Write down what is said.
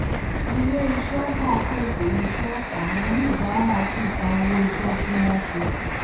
ilè iṣé nàá pèsè iṣé àwọn oníbàárà sì san owó iṣé tí wón ṣe